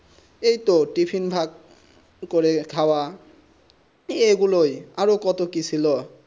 এইতো টিফিন ভাগ্য করে খৰা এই গুলুই আর কত কি ছিল